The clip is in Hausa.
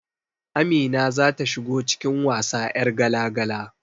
Amina zata shigo cikin wasa 'yar gala-gala